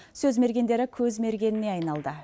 сөз мергендері көз мергеніне айналды